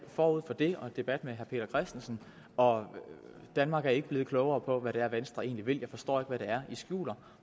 forud for det og debat med herre peter christensen og danmark er ikke blevet klogere på hvad det er venstre egentlig vil jeg forstår ikke hvad det er i skjuler og